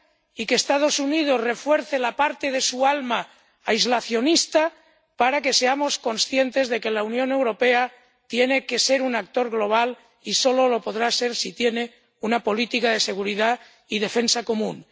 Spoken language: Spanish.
y que los Estados Unidos refuercen la parte de su alma aislacionista para que seamos conscientes de que la Unión Europea tiene que ser un actor global, y solo lo podrá ser si tiene una política de seguridad y defensa común.